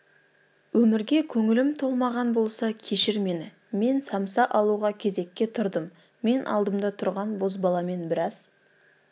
өмірге көңілім толмаған болса кешір мені мен самса алуға кезекке тұрдым мен алдымда тұрған бозбаламен біраз